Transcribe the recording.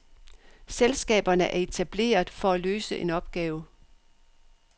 Selskaberne er etableret for at løse en opgave.